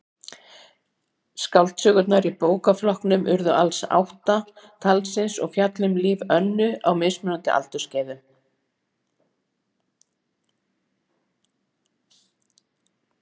Skáldsögurnar í bókaflokknum urðu alls átta talsins og fjalla um líf Önnu á mismunandi aldursskeiðum.